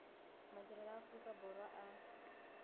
madirelo a aorika borwa a